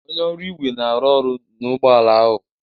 Onye ọrụ igwe na-arụ ọrụ na ụgbọ ala ahụ